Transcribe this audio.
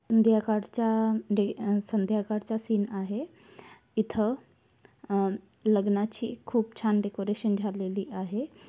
ध्याकडचा day and संध्याकाडचा scene आहे इथं अं लग्नाची खूप छान डेकोरेशन झालेली आहे.